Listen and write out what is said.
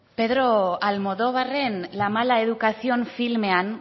pedro almodóvarren la mala educación filmean